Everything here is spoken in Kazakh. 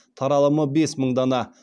таралымы бес мың дана